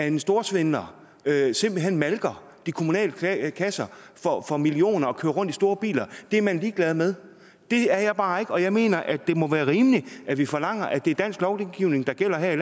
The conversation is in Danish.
en storsvindler simpelt hen malker de kommunale kasser for millioner og kører rundt i store biler er man ligeglad med det er jeg bare ikke og jeg mener at det må være rimeligt at vi forlanger at det er dansk lovgivning der gælder her i